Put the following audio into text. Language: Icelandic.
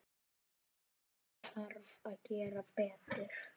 Það þarf að gera betur.